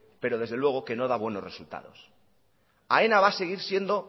pero desde luego que no da buenos resultados aena va a seguir siendo